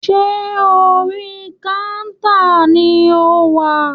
Ṣé orí kántà ni o wà?